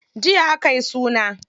Jiya akayi suna.